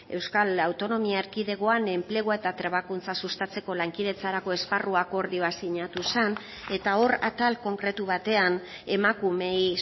euskal autonomia erkidegoan enplegua eta trebakuntza sustatzeko lankidetzarako esparru akordioa sinatu zen eta hor atal konkretu batean emakumeei